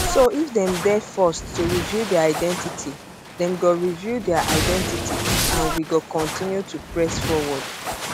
so if dem dey forced to reveal dia identity dem go reveal dia identity and we go continue to press forward